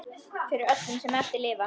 Fyrir öllum sem eftir lifa!